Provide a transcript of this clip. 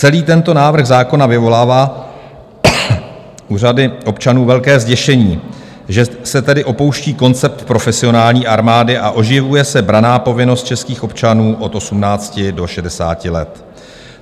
Celý tento návrh zákona vyvolává u řady občanů velké zděšení, že se tedy opouští koncept profesionální armády a oživuje se branná povinnost českých občanů od 18 do 60 let.